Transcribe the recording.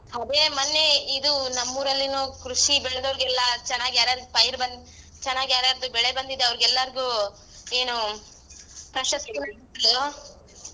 ಅದೇ ಮೊನ್ನೆ ಇದು ನಮ್ಮೂರಲ್ಲಿನೂ ಕೃಷಿ ಬೆಳ್ದೋವ್ರಿಗೆಲ್ಲ ಚೆನ್ನಾಗಿ ಯಾರಾರ್ಗ್ ಪೈರು ಬಂದ್ ಚೆನ್ನಾಗಿ ಯಾರ್ಯಾರ್ದ್ ಬೆಳೆ ಬಂದಿದೆ ಅವರಿಗೆಲ್ಲಾರಿಗೂ ಏನು hello .